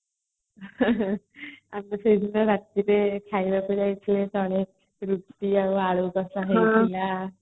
ଆଚ୍ଛା ସେଦିନ ରାତିରେ ଖାଇବାକୁ ଯାଉଥିଲେ ଆଳୁ କସା ହଉଥିଲା